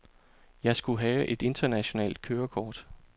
Jeg skulle have et internationalt kørekort.